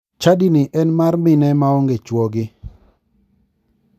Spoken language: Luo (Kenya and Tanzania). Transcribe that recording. Chadini en mar mine ma onge chuogi.